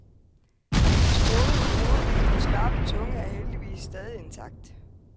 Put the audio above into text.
Hans gode hoved og skarpe tunge er heldigvis stadig intakt.